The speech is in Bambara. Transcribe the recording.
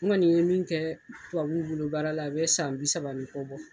N kɔni ye min kɛ tubabuw bolo baara la a bɛ san bi saba ni kɔ bɔ